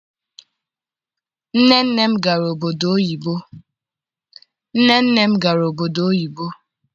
Nne nne m gara obodo oyibo.